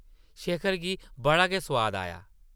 शेखर गी बड़ा गै सोआद आया ।